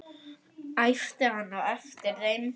æpti hann á eftir þeim.